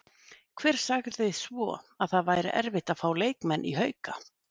Hver sagði svo að það væri erfitt að fá leikmenn í Hauka?